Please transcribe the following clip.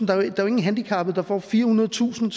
der er jo ingen handicappede der får firehundredetusind